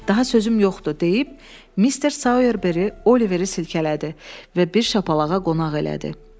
"Daha sözüm yoxdur" deyib Mister Soyerberi Oliveri silkələdi və bir şapalağa qonaq elədi.